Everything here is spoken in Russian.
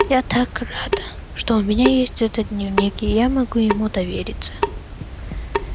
я так рада что у меня есть этот дневник и я могу ему довериться